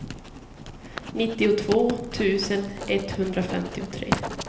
nittiotvå tusen etthundrafemtiotre